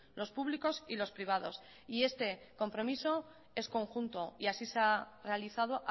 los públicos y los privados y este compromiso es conjunto y así se ha realizado